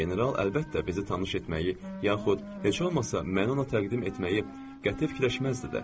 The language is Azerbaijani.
General əlbəttə bizi tanış etməyi, yaxud heç olmasa məni ona təqdim etməyi qəti fikirləşməzdi də.